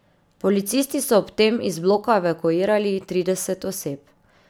Policisti so ob tem iz bloka evakuirali trideset oseb.